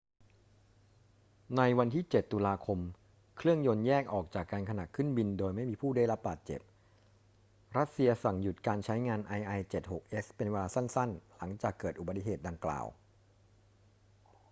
ในวันที่ 7 ตุลาคม เครื่องยนต์แยกออกจากกันขณะขึ้นบินโดยไม่มีผู้ได้รับบาดเจ็บ รัสเซียสั่งหยุดการใช้งาน il-76s เป็นเวลาสั้น ๆ หลังจากเกิดอุบัติเหตุดังกล่าว